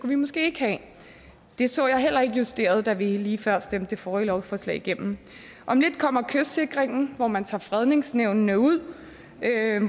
vi måske ikke have det så jeg heller ikke justeret da vi lige før stemte det forrige lovforslag igennem om lidt kommer kystsikring hvor man tager fredningsnævnene ud